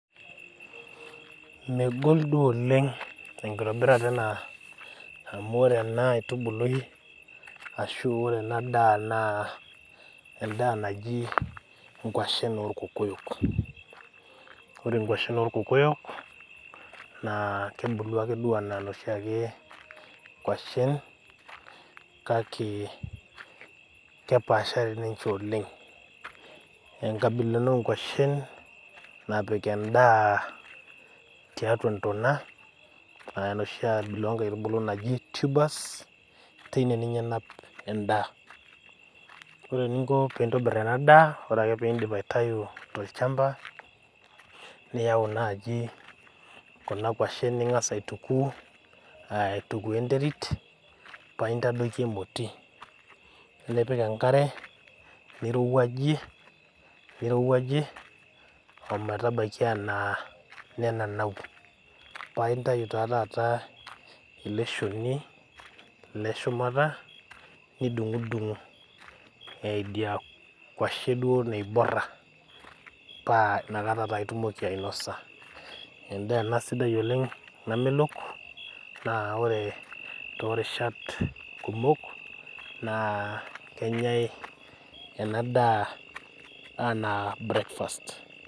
Megol duo oleng' enkitobirata ena amu ore ena aitubului ashu ore enadaa naa endaa naji nkuashin orkokoyok. Ore nkuashin orkokoyok naa kebulu ake duo anaa noshiakee kuashin kake kepaashari ninche oleng'. Enkabila ena oonkuashin napik endaa tiatua ntona ah noshi abila onkaitubulu naji tubers teine ninye enap endaa. Ore ninko piintobirr enadaa, ore ake piindip aitayu tolchamba niyau naji kuna kuashin ning'as aituku aaitukuo enterit paaintadoiki emoti, nipik enkare nirowuajie nirowuajie ometabaiki anaa nenanau paaintayu taa tataa eleshoni leshumata nidung'udung' eh idia kuashi duo naiborra, paa nakata taa itumoki ainosa. Endaa ena sidai oleng' namelok naa ore toorishat kumok naa kenyai enadaa anaa  breakfast.